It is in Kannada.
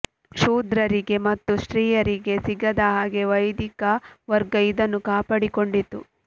ಶೂದ್ರರಿಗೆ ಮತ್ತು ಸ್ತ್ರೀಯರಿಗೆ ಸಿಗದ ಹಾಗೆ ವೈದಿಕ ವರ್ಗ ಇದನ್ನು ಕಾಪಾಡಿಕೊಂಡಿತ್ತು